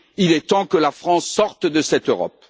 Il est temps que la France sorte de cette Europe.